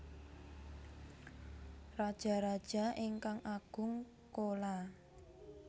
Rajaraja ingkang Agung Chola